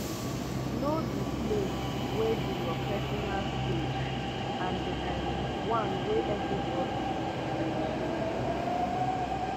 know di place wey be your personal space and di um one wey everybody de share um